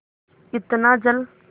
इतना जल